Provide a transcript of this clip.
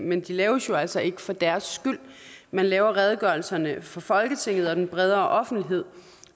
men de laves jo altså ikke for deres skyld man laver redegørelserne for folketinget og den bredere offentlighed